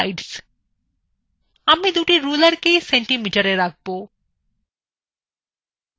আমি দুটি rulersকেই centimetersএ রাখব